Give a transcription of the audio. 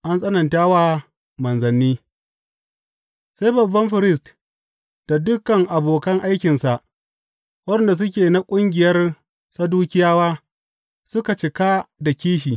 An tsananta wa manzanni Sai babban firist da dukan abokan aikinsa, waɗanda suke na ƙungiyar Sadukiyawa suka cika da kishi.